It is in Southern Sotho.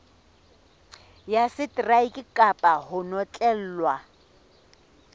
ya seteraeke kapa ho notlellwa